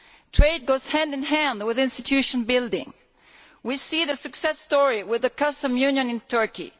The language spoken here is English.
Trade goes hand in hand with institution building. We see the success story with the customs union in Turkey.